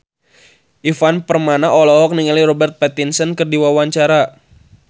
Ivan Permana olohok ningali Robert Pattinson keur diwawancara